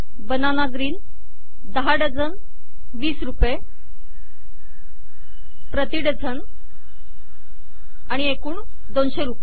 banana green 10 dozen 20 रुपये प्रति dozen आणि एकूण 200 रुपये